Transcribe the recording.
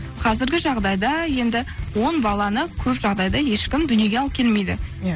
қазіргі жағдайда енді он баланы көп жағдайда ешкім дүниеге алып келмейді иә